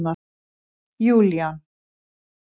Júlían